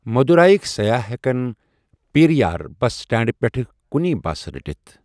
مدُورایِک سَیاح ہٮ۪کَن پیریار بس سٹینڈٕ پٮ۪ھٕ کُنی بس رٔٹِتھ۔